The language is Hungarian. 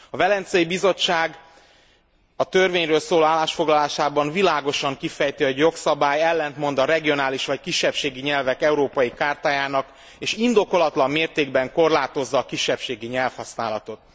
A Velencei Bizottság a törvényről szóló állásfoglalásában világosan kifejti, hogy a jogszabály ellentmond a regionális vagy kisebbségi nyelvek európai chartájának és indokolatlan mértékben korlátozza a kisebbségi nyelvhasználatot.